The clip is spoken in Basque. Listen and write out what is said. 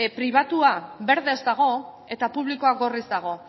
pribatua berdez dago eta publikoa gorriz dago